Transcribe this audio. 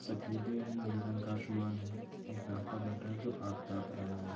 सफेदे रंग का आसमान है एक लड़का बैठा है जो आग ताप रहा है।